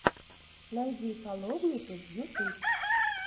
найди фоловмиту ютуб